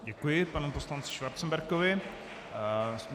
Děkuji panu poslanci Schwarzenbergovi.